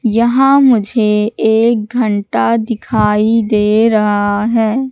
यहां मुझे एक घंटा दिखाई दे रहा है।